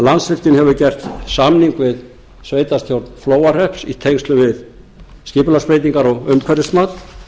landsvirkjun hefur gert samning við sveitarstjórn flóahrepps í tengslum við skipulagsbreytingar og umhverfismat